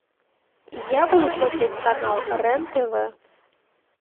я буду смотреть канал рен тв